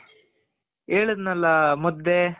ಹೇಳುದ್ನಲ ಮುದ್ದೆ